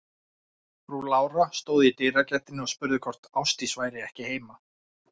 Frú Lára stóð í dyragættinni og spurði hvort Ásdís væri ekki heima.